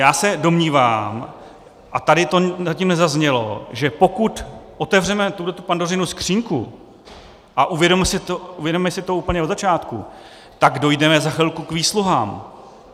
Já se domnívám, a tady to zatím nezaznělo, že pokud otevřeme tuhle Pandořinu skříňku a uvědomíme si to úplně od začátku, tak dojdeme za chvilku k výsluhám.